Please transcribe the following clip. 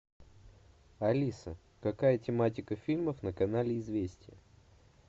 алиса какая тематика фильмов на канале известия